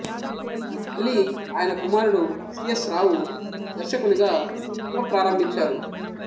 మళ్ళీ ఆయన కుమారుడు సి ఎస్ రావు దర్శకునిగా పునప్రారంభించారు